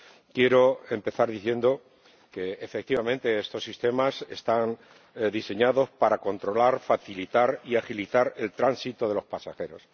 Quiero empezar diciendo que, efectivamente, estos sistemas están diseñados para controlar, facilitar y agilizar el tránsito de los pasajeros.